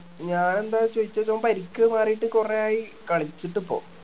ഞാൻ എന്താ ചോയിച്ചേച്ച ഓൻ പരിക്ക് മാറീട്ട് കൊറേ ആയി കളിച്ചിട്ട് ഇപ്പൊ